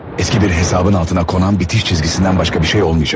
Eski bir hesabın altına konan bitiş çizgisindən başqa bir şey olmayacaq bu.